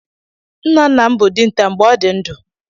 Nna nna m bụ dinta mgbe ọ dị ndụ.